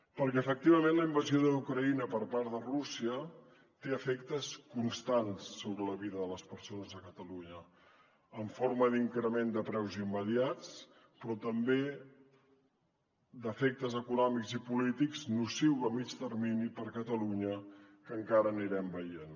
perquè efectivament la invasió d’ucraïna per part de rússia té efectes constants sobre la vida de les persones a catalunya en forma d’increment de preus immediats però també d’efectes econòmics i polítics nocius a mitjà termini per a catalunya que encara anirem veient